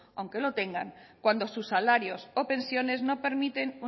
aunque lo tengan cuando sus salarios o pensiones no permiten